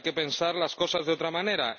hay que pensar las cosas de otra manera.